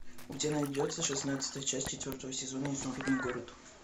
у тебя найдется шестнадцатая часть четвертого сезона изумрудный город